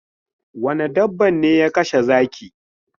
Wane dabba ne ya kashe zaki?